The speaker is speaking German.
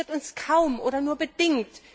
Das interessiert uns kaum oder nur bedingt